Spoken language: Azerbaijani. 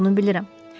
Bunu bilirəm.